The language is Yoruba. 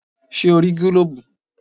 Ṣẹ́ o rí gílóbù?